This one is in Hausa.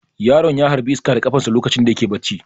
Yaron ya harbi iska da kafarsa lokacin da yake barci.